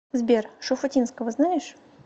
сбер шуфутинского знаешь